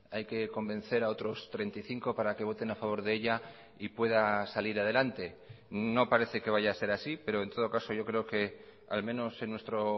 hay que convencer a otros treinta y cinco para que voten a favor de ella y pueda salir adelante no parece que vaya a ser así pero en todo caso yo creo que al menos en nuestro